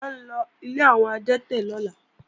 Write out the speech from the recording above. À ńlọ ilé àwọn adẹ́tẹ̀ lọ́la